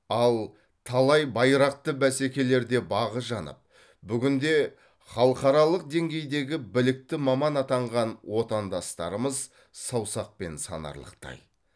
ал талай байрақты бәсекелерде бағы жанып бүгінде халықаралық деңгейдегі білікті маман атанған отандастарымыз саусақпен санарлықтай